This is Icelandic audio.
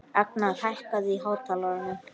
Agnar, hækkaðu í hátalaranum.